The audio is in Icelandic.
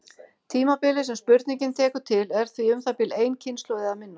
Tímabilið sem spurningin tekur til er því um það bil ein kynslóð eða minna.